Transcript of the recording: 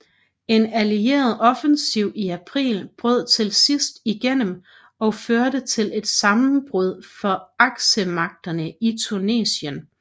En Allieret offensiv i april brød til sidst igennem og førte til et sammenbrud for Aksemagterne i Tunesien